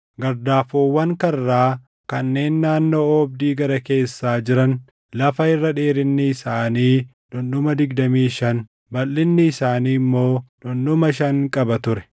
Gardaafoowwan karraa kanneen naannoo oobdii gara keessaa jiran lafa irra dheerinni isaanii dhundhuma digdamii shan, balʼinni isaanii immoo dhundhuma shan qaba ture.